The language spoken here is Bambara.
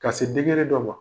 Ka se dɔ ma